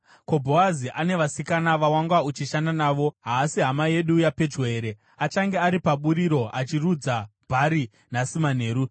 Ko, Bhoazi ane vasikana vawanga uchishanda navo haasi hama yedu yapedyo here? Achange ari paburiro achirudza bhari nhasi manheru.